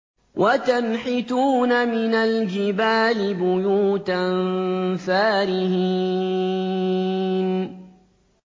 وَتَنْحِتُونَ مِنَ الْجِبَالِ بُيُوتًا فَارِهِينَ